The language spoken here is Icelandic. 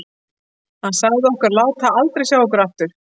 Hann sagði okkur að láta aldrei sjá okkur aftur.